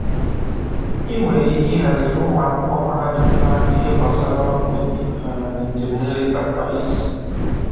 I nwere ike ihaziri ụmụ akwụkwọ mahadum na-agụ ihe gbasara ọrụ ubi um njem nleta kwa izu